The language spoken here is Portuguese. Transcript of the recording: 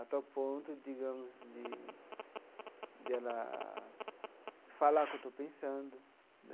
Até o ponto, digamos, de de ela falar o que eu estou pensando.